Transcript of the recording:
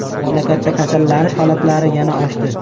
Mamlakatda kasallanish holatlari yana oshdi.